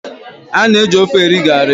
A na-eji ofe eri garri.